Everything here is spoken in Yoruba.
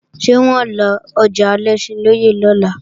Ṣé wọ́n ó lọjà Alẹ́ṣinlọ́yẹ́ lọ́la?